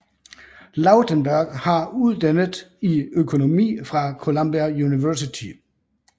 Lautenberg har uddannet i økonomi fra Columbia University